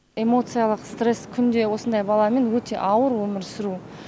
эмоциялық стресс күнде осындай баламен өте ауыр өмір сүру